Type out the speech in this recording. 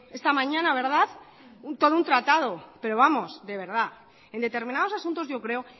esta mañana todo un tratado pero vamos de verdad en determinados asuntos yo creo